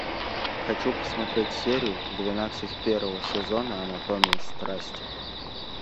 хочу посмотреть серию двенадцать первого сезона анатомия страсти